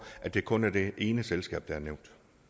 det kun er det ene selskab der er nævnt